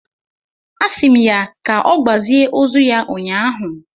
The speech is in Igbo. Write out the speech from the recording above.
a si m ya ka ogbazie ozu ya ụnyahụ